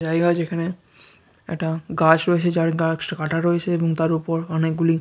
জায়গা যেখানে একটা গাছ রয়েছে | যার গায়ে কিছু কাটা রয়েছে | এবং তার ওপর অনেকগুলি --